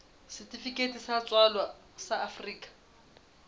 setifikeiti sa tswalo sa afrika